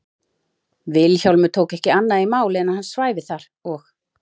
Vilhjálmur tók ekki annað í mál en að hann svæfi þar og